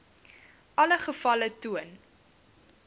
alle gevalle getoon